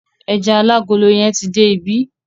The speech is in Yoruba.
Ẹja alágolo yẹn ti dé ibí.